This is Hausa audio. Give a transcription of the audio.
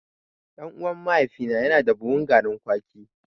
Ɗan'uwan mahaifina yana da buhun garin kwaki.